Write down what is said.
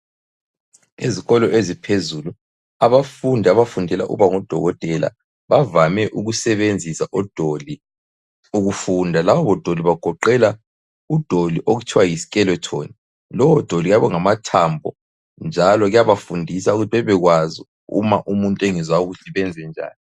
Ezikolo eziphezulu abafundi abafundela ukuba ngudokotela bavame ukusebenzisa udoli ukufunda. Laba odoli bagoqela udoli okuthiwa yi skeleton lowodoli uyabe ungamathambo njalo kuyabafundisa ukuthi bebekwazi ukuthi uma umuntu engezwa kuhle benzenjani.